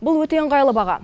бұл өте ыңғайлы баға